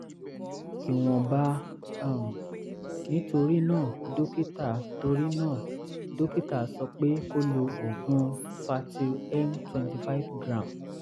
ìwọ̀nba um ni torí náà dókítà torí náà dókítà sọ pé kó lo oògùn fertyl m twenty five gram